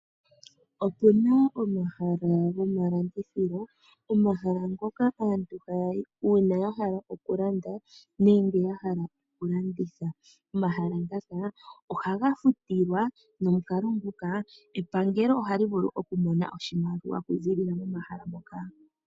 Opena omahala gomalandithilo, omahala ngoka aantu haya yi uuna ya hala okulanda nenge ya hala okulanditha. Omahala ngaka ohaga futilwa nomukalo nguka epangelo ohali vulu okumona oshimaliwa okuziilila momahala moka.